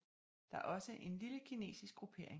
Der er også en lille kinesisk gruppering